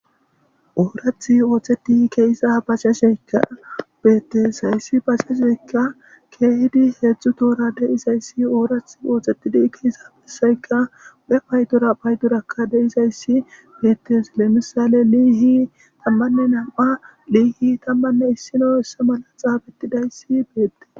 oorath ooxeti keessa baseshekka beettes hayssi basesekka keehidi heedzdzu toora deizayssi oorath ooxetidi keeyssafesayka be paydora paydurakka deizayssi bettes lemisale liihi tammanne nam7a liihi tammanne issino essa mala xaabettidayssi beette